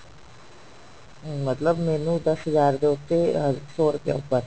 ਮਤਲਬ ਮੈਨੂੰ ਦਸ ਹਜ਼ਾਰ ਦੇ ਉੱਤੇ ਅਹ ਸੋ ਰੁਪਏ ਉੱਪਰ